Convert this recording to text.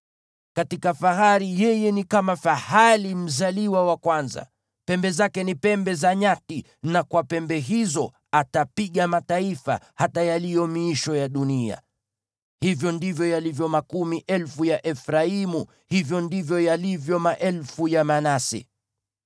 Katika fahari yeye ni kama fahali mzaliwa wa kwanza; pembe zake ni pembe za nyati, na kwa pembe hizo atapiga mataifa, hata yaliyo miisho ya dunia. Hivyo ndivyo yalivyo makumi elfu ya Efraimu; hivyo ndivyo yalivyo maelfu ya Manase.”